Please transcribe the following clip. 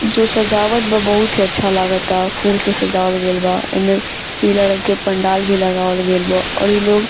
जो सजावट बा बहुत ही अच्छा लागता फूल से सजावल गईल बा ऐमें पीला रंग के पंडाल भी लगावल गईल बा और ई लोग --